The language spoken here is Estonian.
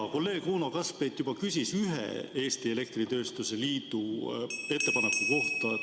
Hea kolleeg Uno Kaskpeit juba küsis ühe Eesti Elektritööstuse Liidu ettepaneku kohta.